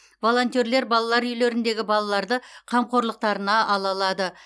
волонтерлер балалар үйлеріндегі балаларды қамқорлықтарына ала алады